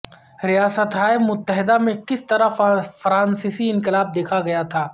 ریاستہائے متحدہ میں کس طرح فرانسیسی انقلاب دیکھا گیا تھا